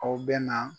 Aw bɛ na